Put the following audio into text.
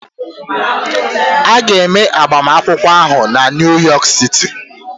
A ga-eme agbamakwụkwọ ahụ na Niu yọk siti